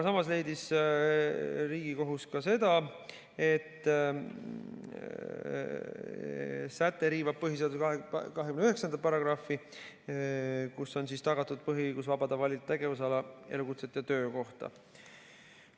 Samas leidis Riigikohus ka seda, et säte riivab põhiseaduse 29. paragrahvi, kus on tagatud põhiõigus vabalt valida tegevusala, elukutset ja töökohta.